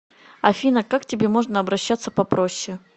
афина как к тебе можно обращаться попроще